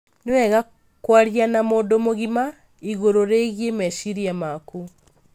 Nĩ wega kwaria na mũndũ mũgima igũrũ rĩgiĩ meciria maku.